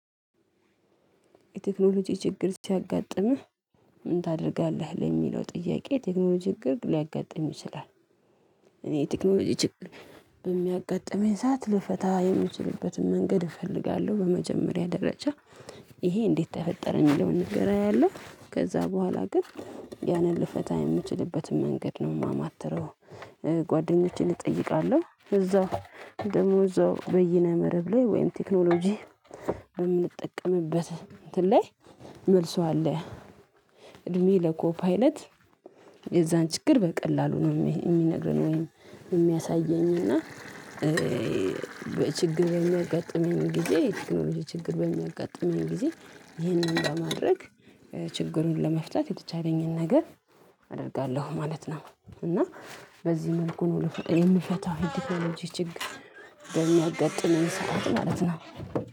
የቴክኖሎጂ ችግር ሲያጋጥምህ ምን ታደርጋለህ ለሚለው ጥያቄ የቴክኖሎጂ ችግር ሊያጋጥም ይችላል? እኔ ቴክኖሎጂ ችግር በሚያጋጥመኝ ሰዓት ልፈታ የምችልበትን መንገድ እፈልጋለሁ በመጀመሪያ ደረጃ ይሄ እንዴት ተፈጠረ የሚለውን ነገር አያለሁ ከዛ በኋላ ግን ያንን ልፈታ የምችልበትን መንገድ ነው የማማትረው። ጓደኞቼን እጠይቃለሁ እዛው ደግሞ እዛው በይነ መረብ ላይ ወይም ቴክኖሎጂ በምንጠቀምበት እንትን ላይ መልሱ አለ። እድሜ ለኮፓይለት የዛን ችግር በቀላሉ ነው የሚነግረን ወይም የሚያሳየኝ እና። በችግር በሚያጋጥመኝ ጊዜ የቴክኖሎጂ ችግር በሚያጋጥመኝ ጊዜ ይህንን ለማድረግ ችግሩን ለመፍታት የተቻለኝን ነገር አደርጋለሁ ማለት ነው። እና በዚህ መልኩ ነው ልብሶ የምፈታው የተክኖሎጂ ችግር በሚያጋጥመኝ ሰዓት ማለት ነው